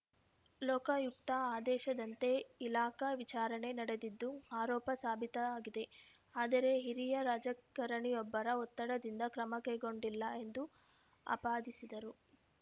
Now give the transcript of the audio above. ಲೋಕಾಯುಕ್ತ ಆದೇಶದಂತೆ ಇಲಾಖಾ ವಿಚಾರಣೆ ನಡೆದಿದ್ದು ಆರೋಪ ಸಾಬೀತಾಗಿದೆ ಆದರೆ ಹಿರಿಯ ರಾಜಕಾರಣಿಯೊಬ್ಬರ ಒತ್ತಡದಿಂದ ಕ್ರಮ ಕೈಗೊಂಡಿಲ್ಲ ಎಂದು ಆಪಾದಿಸಿದರು